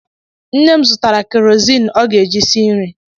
Nne m zụtara kerozin ọ ga-eji esi nri.